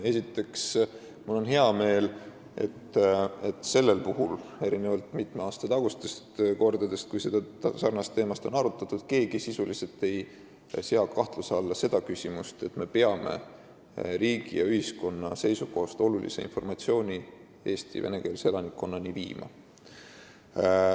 Esiteks, mul on hea meel, et erinevalt mitme aasta tagustest kordadest, kui sarnast teemat on arutatud, ei sea keegi sisuliselt kahtluse alla seda, et me peame riigi ja ühiskonna seisukohast olulise informatsiooni Eesti venekeelse elanikkonnani viima.